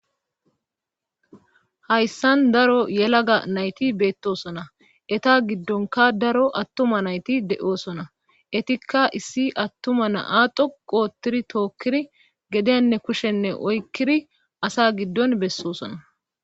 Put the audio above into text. Hayssan daro yelaga nayti beettosona eta giddonka daro attuma nayti de7oosona etikka issi attuma na7a dhoqoottiri tookkiri gedenne kushshenne oykkiri asa giddon bessosona.